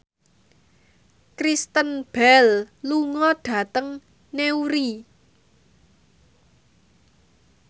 Kristen Bell lunga dhateng Newry